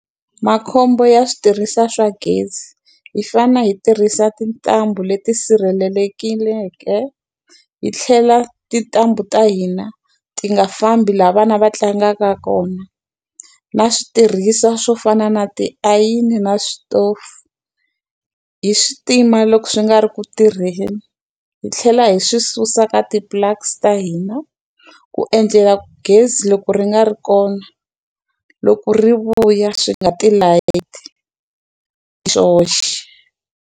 Makhombo ya switirhisiwa swa gezi. Hi fanele hi tirhisa tintambu leti sirhelikeleke, hi tlhela tintambu ta hina ti nga fambi laha vana va tlangaka kona. Na switirhisiwa swo fana na tiayini na switofu, hi swi tima loko swi nga ri ku tirheni, hi tlhela hi swi susa ka ti-plugs ta hina ku endlela ku gezi loko ri nga ri kona, loko ri vuya swi nga tilayiti hi swoxe.